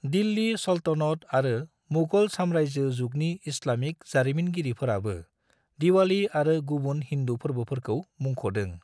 दिल्ली सल्तनत आरो मुगल सामरायजो जुगनि इस्लामिक जारिमिनगिरिफोराबो दिवालि आरो गुबुन हिन्दु फोरबोफोरखौ मुंख'दों।